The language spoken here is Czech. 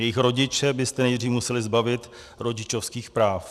Jejich rodiče byste nejdřív museli zbavit rodičovských práv.